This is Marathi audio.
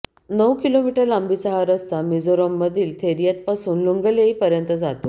नऊ किमी लांबीचा हा रस्ता मिझोरममधील थेरियात पासून लुंगलेई पर्यंत जातो